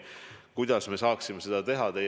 Kuidas me saaksime seda teha?